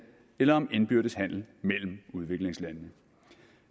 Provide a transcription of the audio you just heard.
eller om indbyrdes handel mellem udviklingslandene